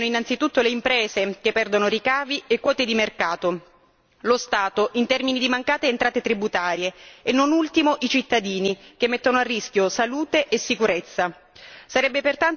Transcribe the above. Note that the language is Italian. A subire i danni sono innanzitutto le imprese, che perdono ricavi e quote di mercato, lo Stato, in termini di mancate entrate tributarie, e, non ultimo, i cittadini, che mettono a rischio salute e sicurezza.